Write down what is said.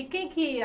E quem que ia?